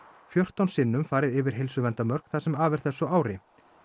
fjórtán sinnum farið yfir heilsuverndarmörk það sem af er þessu ári